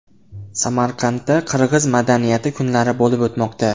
Samarqandda qirg‘iz madaniyati kunlari bo‘lib o‘tmoqda.